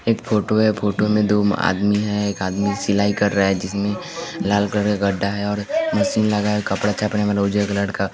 एक फोटो है फोटो में दो आदमी है एक आदमी सिलाई कर रहा है जिसमें लाल कलर का गड्ढा है और मशीन लगा है कपड़ा चापने वाला उज्जर कलर का--